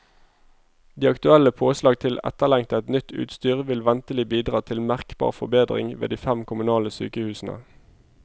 De aktuelle påslag til etterlengtet, nytt utstyr vil ventelig bidra til merkbar forbedring ved de fem kommunale sykehusene.